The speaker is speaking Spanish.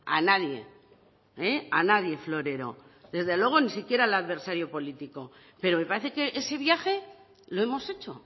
a nadie a nadie florero desde luego ni siquiera al adversario político pero me parece que ese viaje lo hemos hecho